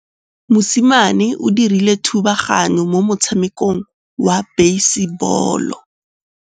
Mosimane o dirile thubaganyô mo motshamekong wa basebôlô.